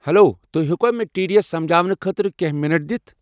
Hello, تُہۍ ہیٚکوٕ مےٚ ٹی ڈی اٮ۪س سمجاونہٕ خٲطرٕ کٮ۪نٛہہ مِنٹ دِتھ؟